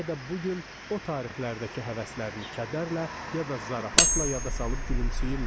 Bəlkə də bu gün o tarixlərdəki həvəslərini kədərlə ya da zarafatla yada salıb gülümsəyirlər.